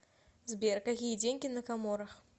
сбер какие деньги на коморах